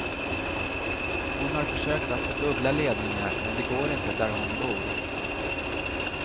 Hon har försökt att få dubbla ledningar, men det går inte där hon bor.